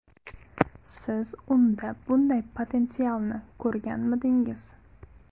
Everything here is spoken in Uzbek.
Siz unda bunday potensialni ko‘rganmidingiz?